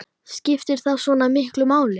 Skiptir það svona miklu máli?